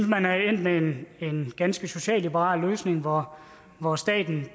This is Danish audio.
man er endt med en en ganske socialliberal løsning hvor hvor staten